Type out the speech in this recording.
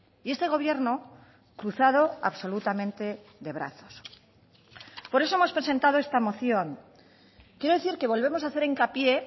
y este gobierno cruzado absolutamente de brazos por eso hemos presentado esta moción quiero decir que volvemos a hacer hincapié